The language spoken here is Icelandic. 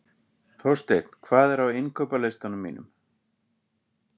Þorsteinn, hvað er á innkaupalistanum mínum?